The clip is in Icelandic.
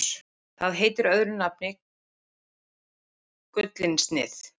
Það heitir öðru nafni gullinsnið.